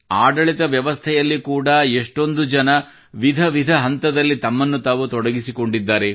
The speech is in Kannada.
ಆಡಳಿತ ವ್ಯವಸ್ಥೆಯಲ್ಲಿ ಕೂಡಾ ಎಷ್ಟೊಂದು ಜನರು ವಿಧ ವಿಧ ಹಂತದಲ್ಲಿ ತಮ್ಮನ್ನು ತಾವು ತೊಡಗಿಸಿಕೊಂಡಿದ್ದಾರೆ